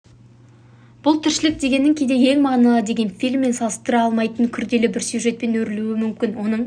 бұл тіршілік дегенің кейде ең мағыналы деген фильммен салыстыра алмайтын күрделі бір сюжетпен өрілуі мүмкін оның